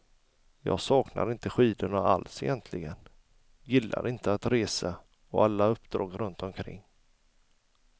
Jag saknar inte skidorna alls egentligen, gillade inte att resa och alla uppdrag runt omkring.